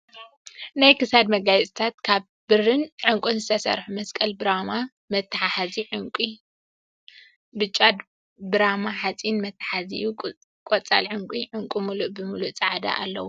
ናይ ክሳድ መጋየፅታት ካብ ብርን ዕንቁን ዝተሰርሑ መስቀል ብራማ መትሓዚኡ ዕንቂ ፃዕዳን ብጫን፣ ብራማ ሓፂን መትሓዚኡ ቆፃል ዑንቂ፣ ዕንቂ ሙሉእ ብሙሉ ፃዕዳ ኣለዉ።